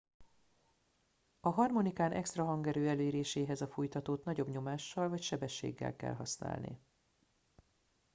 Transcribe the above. a harmonikán extra hangerő eléréséhez a fújtatót nagyobb nyomással vagy sebességgel kell használni